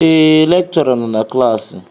Ee, lekchọra nọ na klaasị